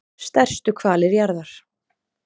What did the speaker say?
stærstu hvalir jarðar